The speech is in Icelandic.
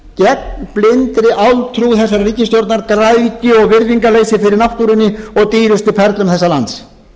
blindri áltrú þessarar ríkisstjórnar græðgi og virðingarleysi fyrir náttúrunni og dýrustu perlum þessa lands